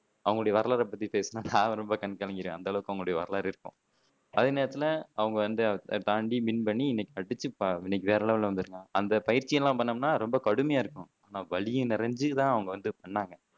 அவங்களோட வரலாறை பத்தி பேசுனா நான் ரொம்ப கண் கலங்கிடுவேன் அந்த அளவுக்கு அவங்களோட வரலாறு இருக்கும் அதே நேரத்துல அவங்க வந்து தாண்டி வின் பண்ணி இன்னைக்கு இன்னைக்கு வேற லெவல்ல வந்துருக்காங்க அந்த பயிற்சியெல்லாம் பண்ணோம்னா ரொம்ப கடுமையா இருக்கணும் வலி நிறைஞ்சு தான் அவங்க பண்ணாங்க